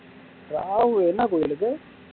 ராகுல் என்ன கோவிலுக்கு